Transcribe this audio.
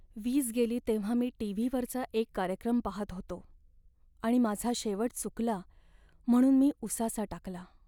वीज गेली तेव्हा मी टी.व्ही.वरचा एक कार्यक्रम पाहत होतो आणि माझा शेवट चुकला म्हणून मी उसासा टाकला.